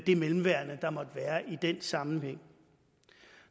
det mellemværende der måtte være i den sammenhæng